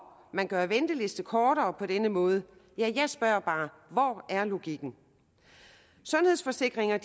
man gør ventelisterne kortere på denne måde ja jeg spørger bare hvor er logikken sundhedsforsikringer